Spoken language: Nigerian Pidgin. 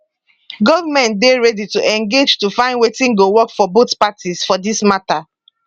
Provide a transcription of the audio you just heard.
govment dey ready to engage to find wetin go work for both parties for dis mata